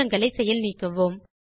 மாற்றங்களை செயல் நீக்குவோம்